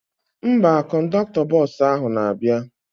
Mba, kọndọktọ bọsụ ahụ na-abịa